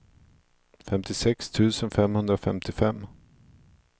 femtiosex tusen femhundrafemtiofem